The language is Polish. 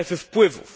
strefą wpływów.